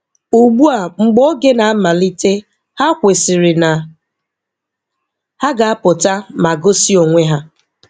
Ugbu a mgbe oge na-amalite ha kwesịrị na ha ga-apụta ma gosi onwe ha.